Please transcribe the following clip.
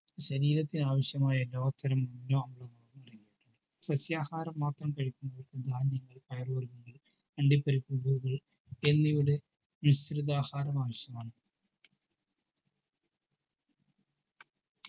ശരീരത്തിന് ആവിശ്യമായ അടങ്ങീട്ടുണ്ട് സസ്യ ആഹാരങ്ങൾ മാത്രം കഴിക്കുന്നത് ധാന്യങ്ങൾ പയർ വർഗങ്ങൾ അണ്ടിപരിപ്പുകൾ എന്നിവയുടെ മിശ്രിത ആഹാരം ആവിശ്യമാണ്